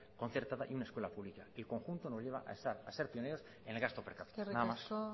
concertada y una escuela pública y el conjunto nos lleva a ser pioneros en el gasto per capita nada más eskerrik asko